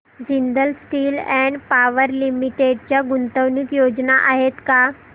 Jindal steel and power limited च्या गुंतवणूक योजना आहेत का